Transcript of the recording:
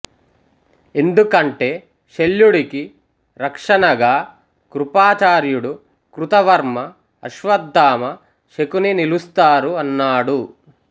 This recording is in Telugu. ఎందుకంటే శల్యుడికి రక్షణగా కృపాచార్యుడు కృతవర్మ అశ్వత్థామ శకుని నిలుస్తారు అన్నాడు